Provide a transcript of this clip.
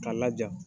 K'a laja